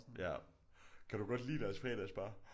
Ja. Kan du godt lide deres fredagsbar?